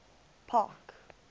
park